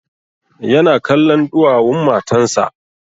Ya na kallon ɗuwawun matan sa